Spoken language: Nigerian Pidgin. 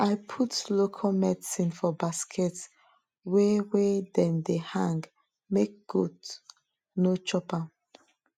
i put local medicine for basket wey wey dem de hang make goat no chop am